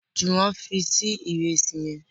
Juwon fí Sí Ìrẹsí yén